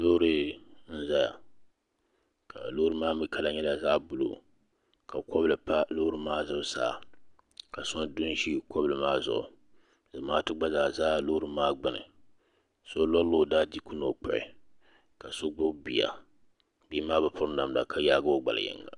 Loori n zaya ka loori maa mi kala nyɛla zaɣa buluu ka kɔbili pa?loori maa zuɣusaa ka so du n ʒi kɔbili maa zuɣu zamaatu gba zaa za loori maa gbuni so lɔri la o daa diiku ni o kpuɣi ka so gbubi bia bia maa bi piri namda ka yaagi o gbali yinga.